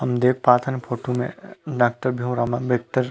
हम देख पाथन फोटो में डॉक्टर भीम राओ आंबेडकर--